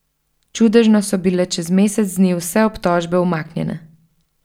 Čudežno so bile čez mesec dni vse obtožbe umaknjene.